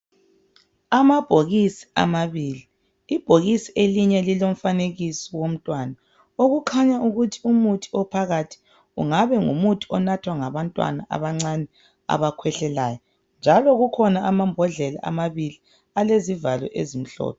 Amabhokisi amabili. lbhokisi elinye lilomfanekiso womntwana. Okukhanya ukuthi umuthi ophakathi ungabe ngumuthi onathwa ngabantwana abancane abakhwehlelayo, njalo kukhona amambodlela amabili alezivalo ezimhlophe.